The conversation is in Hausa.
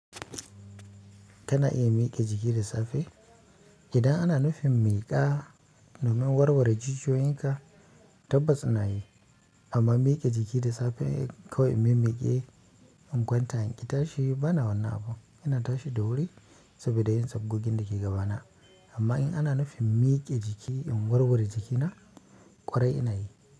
Tana iya miƙe jiki da safe. Idan ana nufin miƙa domin warware jijiyoyin ka, tabbas ina yi. Amma miƙe jiki da safe kawai in mimiƙe in kwanta inƙi tashi? Bana wannan abun, ina tashi da wuri saboda yin sabgogin dake gabana amma in ana nufin miƙe jiki in warware jikina ƙwarai ina yi.